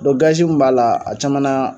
Dɔ gazi mun b'a la a caman na